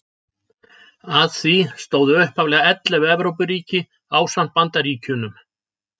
Að því stóðu upphaflega ellefu Evrópuríki ásamt Bandaríkjunum.